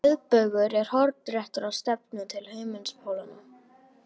Miðbaugur er hornréttur á stefnuna til himinpólanna.